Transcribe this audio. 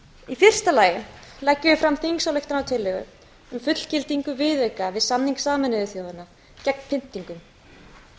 í fyrsta lagi leggjum við fram þingsályktunartillögu um fullgildingu viðauka við samning sameinuðu þjóðanna gegn pyndingum